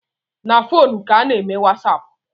Na fonu ka a na-eme wasapu